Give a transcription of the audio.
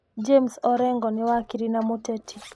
James Orengo nĩ wakiri na mũteti.